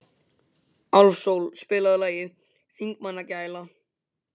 Álfsól, spilaðu lagið „Þingmannagæla“.